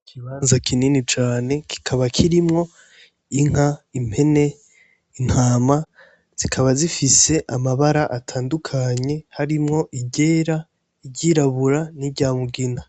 Ikibanza kinini cane kikaba kirimwo inka, impene, intama zikaba zifise amabara atandukanye harimwo iryera, iryirabura n'iryamugina,